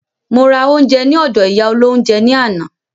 Mo ra oúnjẹ ní ọdọ̀ ìyá olóhúnjẹ ní àná.